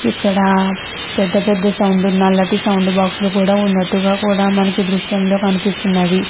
ఇక్కడ పెద్ద పెద్ద సౌండ్ బాక్స్ లు కూడా వున్నటుగ కూడా దృశ్యంలో కనిపిస్తునది.